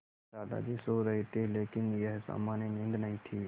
दादाजी सो रहे थे लेकिन यह सामान्य नींद नहीं थी